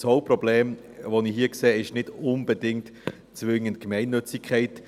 Das Hauptproblem, das ich hier sehe, ist nicht unbedingt zwingend die Gemeinnützigkeit.